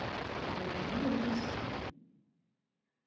держи лойс